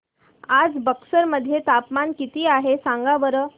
आज बक्सर मध्ये तापमान किती आहे सांगा बरं